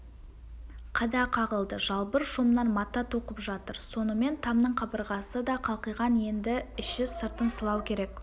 қада қағылды жалбыр шомнан мата тоқып жатыр сонымен тамның қабырғасы да қалқиған енді іші-сыртын сылау керек